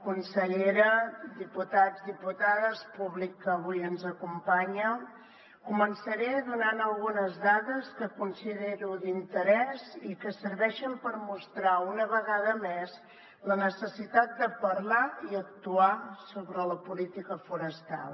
consellera diputats diputades públic que avui ens acompanya començaré donant algunes dades que considero d’interès i que serveixen per mostrar una vegada més la necessitat de parlar i actuar sobre la política forestal